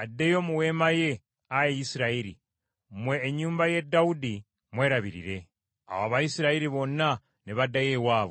addeyo mu weema ye, ayi Isirayiri! Mmwe ennyumba ye Dawudi mwerabirire.” Awo Abayisirayiri bonna ne baddayo ewaabwe.